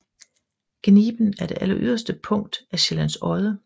Gniben er det alleryderste punkt af Sjællands Odde